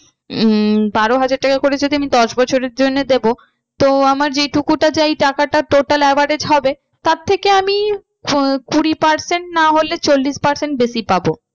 উম বারো হাজার টাকা করে যদি আমি দশ বছরের জন্য দেবো তো আমার যে টুকু যা এই টাকাটা total average হবে তার থেকে আমি আহ কুড়ি percent না হলে চল্লিশ percent বেশি পাবো।